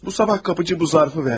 Bu səhər qapıçı bu zərfi verdi.